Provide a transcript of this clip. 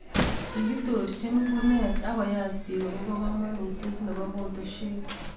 kikitoorchini kunet ak koyaat biik akobo komonutie nebo kotoswek